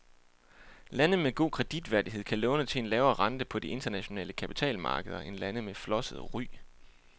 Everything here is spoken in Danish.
Lande med god kreditværdighed kan låne til en lavere rente på de internationale kapitalmarkeder end lande med flosset ry.